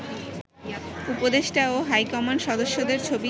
উপদেষ্টা ও হাইকমান্ড সদস্যদের ছবি